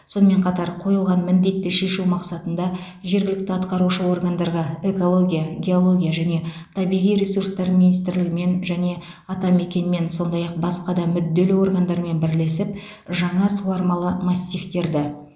сонымен қатар қойылған міндетті шешу мақсатында жергілікті атқарушы органдарға экология геология және табиғи ресурстар министрлігімен және атамекенмен сондай ақ басқа да мүдделі органдармен бірлесіп жаңа суармалы массивтерді